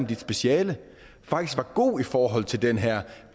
dit speciale faktisk var gode i forhold til den her